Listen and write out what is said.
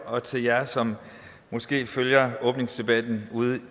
og til jer som måske følger åbningsdebatten ude